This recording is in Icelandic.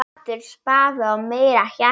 Aftur spaði og meira hjarta.